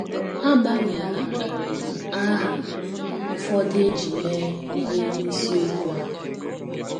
A gbanweela um aha ụfọdụ e ji mee ihe n’isiokwu a.